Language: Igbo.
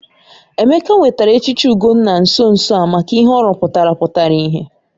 Emeka nwetara echichi Ugonna nso nso a maka ihe ọ rụpụtara pụtara ìhè.